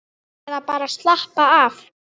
Eða bara að slappa af.